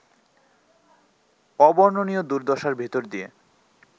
অবর্ণনীয় দুর্দশার ভেতর দিয়ে